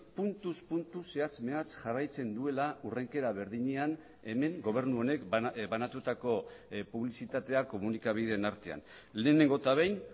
puntuz puntu zehatz mehatz jarraitzen duela hurrenkera berdinean hemen gobernu honek banatutako publizitatea komunikabideen artean lehenengo eta behin